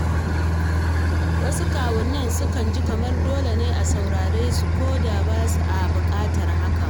Wasu kawunnai sukan ji kamar dole ne a saurari su koda ba a buƙatar hakan.